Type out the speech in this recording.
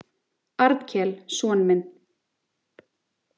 Arnkel son minn.